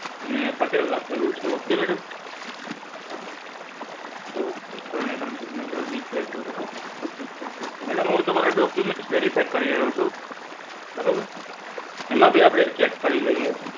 અને પટેલ લખેલું છે ok madam, ok ત્રણેય ત્રણ singature છે બરોબર. બધુ complete છે હવે madam તમારા documnet verify કરી રહ્યો છું બરોબર? એમાં ભી આપણે check કરી લઈએ.